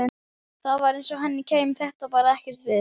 Það var eins og henni kæmi þetta bara ekkert við.